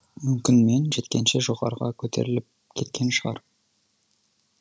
мүмкін мен жеткенше жоғарыға көтеріліп кеткен шығар